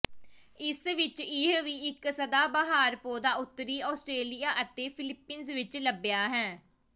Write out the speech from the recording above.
ਇਸ ਵਿਚ ਇਹ ਵੀ ਇੱਕ ਸਦਾਬਹਾਰ ਪੌਦਾ ਉੱਤਰੀ ਆਸਟ੍ਰੇਲੀਆ ਅਤੇ ਫਿਲੀਪੀਨਜ਼ ਵਿੱਚ ਲੱਭਿਆ ਹੈ